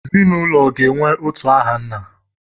Ezinụlọ ga-enwe otu aha nna.